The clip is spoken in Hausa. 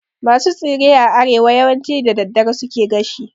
Masu tsire a arewa yawanci da daddare suke gashi